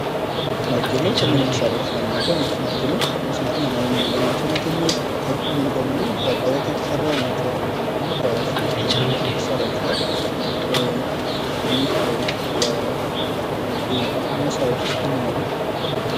መርቴሎ ከነዚህ መሳሪያዎች አንዱ ሲሆን፤ ይህ መርቴሎም ሚስማርን ለመምቻነት የሚውል ሙሉ በሙሉ ከብረት የተሰራ ሊሆን ይችላል። አንዳንዴ ደግሞ ከላስቲኮች ከምናምን ሊሰራይችላል። መሳሪያዎች ውስጥ አንደኛው ነው።